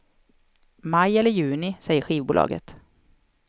Maj eller juni, säger skivbolaget.